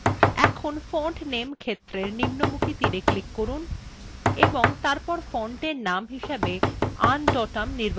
এখন font name ক্ষেত্রের নিম্নমুখী তীরএ click করুন এবং তারপর ফন্টের name হিসাবে undotum নির্বাচন করুন